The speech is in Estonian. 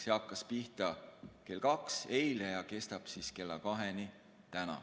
See hakkas pihta eile kell kaks ja kestab täna kella kaheni.